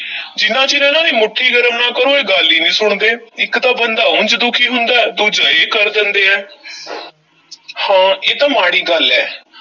ਜਿੰਨਾ ਚਿਰ ਇਹਨਾਂ ਦੀ ਮੁੱਠੀ ਗਰਮ ਨਾ ਕਰੋ, ਇਹ ਗੱਲ ਹੀ ਨਹੀਂ ਸੁਣਦੇ, ਇੱਕ ਤਾਂ ਬੰਦਾ ਉਂਜ ਦੁਖੀ ਹੁੰਦਾ ਹੈ, ਦੂਜੇ ਇਹ ਕਰ ਦੇਂਦੇ ਹੈ ਹਾਂ ਇਹ ਤਾਂ ਮਾੜੀ ਗੱਲ ਐ।